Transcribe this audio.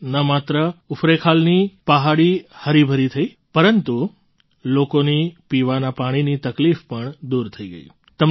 તેનાથી ન માત્ર ઉફરૈંખાલની પહાડી હરીભરી થઈ પરંતુ લોકોની પીવાના પાણીની તકલીફ પણ દૂર થઈ ગઈ